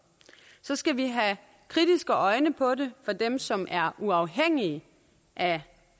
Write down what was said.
så skal vi have kritiske øjne på det fra dem som er uafhængige af